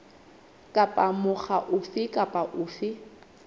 kapa mokga ofe kapa ofe